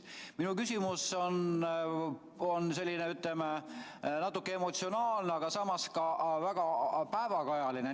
Minu küsimus on selline, ütleme, natuke emotsionaalne, aga samas ka väga päevakajaline.